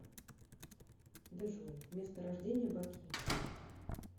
джой место рождения баки